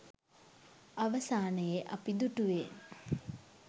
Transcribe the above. අවසානයේ අපි දුටුවේ